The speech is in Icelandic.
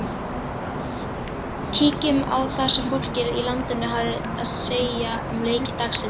Kíkjum á það sem fólkið í landinu hafði að segja um leiki dagsins.